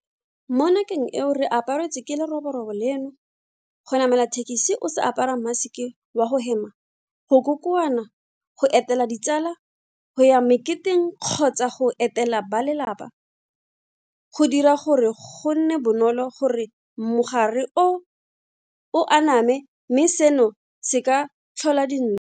Mo nakong eo re aparetsweng ke leroborobo leno, go namela thekesi o sa apara maseke wa go hema, go kokoana, go etela ditsala, go ya meketeng kgotsa go etela balelapa, go dira gore go nne bonolo gore mogare o o aname mme seno se ka tlhola din.